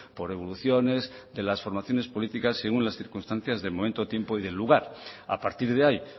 por evoluciones de las formaciones políticas según las circunstancias del momento tiempo y del lugar a partir de ahí